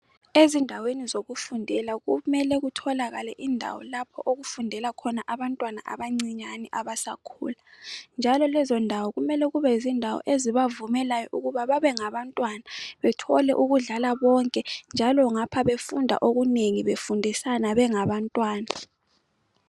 Ezindaweni zokufundela kumele kutholakale indawo lapho okufundela zabantwana abancinyane abasakhulayo njalo kulezondawo kumele kube yozindawo ezibavumelayo ukuba babe ngabantwana bathole ukudlala konke njalo ngapha befunda okunengi befundisana bengabantwana.